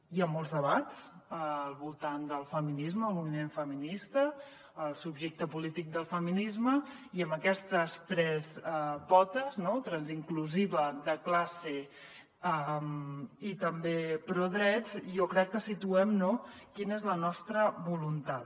hi ha molts debats al voltant del feminisme el moviment feminista el subjecte polític del feminisme i amb aquestes tres potes transinclusiva de classe i també prodrets jo crec que situem quina és la nostra voluntat